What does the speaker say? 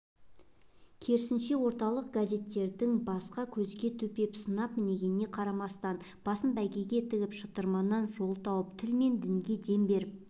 керісінше орталық газеттердің басқа көзге төпеп сынап мінгеніне қарамастан басын бәйгеге тігіп шытырманнан жол тауып тіл мен дінге дем беріп